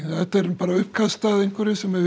bara uppkast að einhverju sem